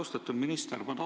Austatud minister!